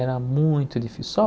Era muito difícil. Só